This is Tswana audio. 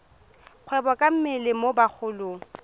kgwebo ka mmele mo bagolong